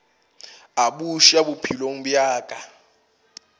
a buša bophelong bja ka